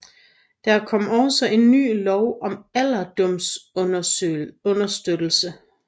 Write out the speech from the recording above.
Der kom også en ny lov om alderdomsunderstøttelse